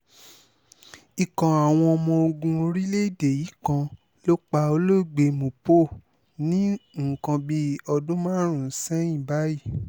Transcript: ikọ̀ àwọn ọmọ ogun orílẹ̀‐èdè yìí kan ló pa olóògbé ní nǹkan bíi ọdún márùn-ún sẹ́yìn báyìí